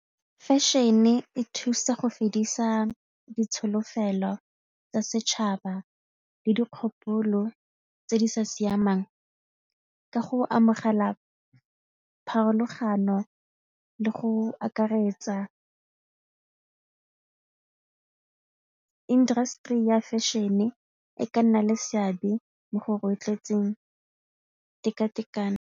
Fashion-e e thusa go fedisa ditsholofelo tsa setšhaba le dikgopolo tse di sa siamang ka go amogela pharologano le go akaretsa industry ya fashion-e e ka nna le seabe mo go rotloetseng tekatekano.